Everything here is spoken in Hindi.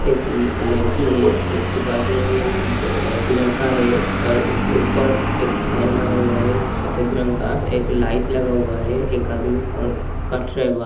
एक म लड़की है उसके पास में भी एक बे ए लड़का है और उसके ऊपर एक फैन लगा हुआ है। फ सफ़ेद रंग का एक लाइट लगा हुआ है एक आदमी क कट रहा है बा --